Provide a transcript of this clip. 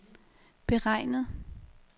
beregnet